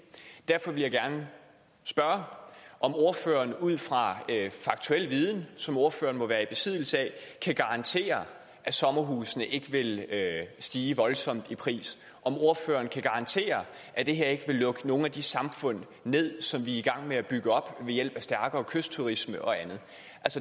derfor vil jeg gerne spørge om ordføreren ud fra faktuel viden som ordføreren må være i besiddelse af kan garantere at sommerhuse ikke vil stige voldsomt i pris om ordføreren kan garantere at det her ikke vil lukke nogle af de her samfund ned som vi er i gang med at bygge op ved hjælp af stærkere kystturisme og andet